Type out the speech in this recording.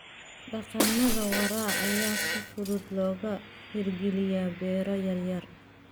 Dhaqannada waara ayaa si fudud looga hirgeliyaa beero yaryar.